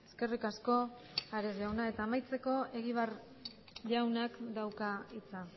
eskerrik asko ares jauna eta amaitzeko egibar jaunak dauka hitza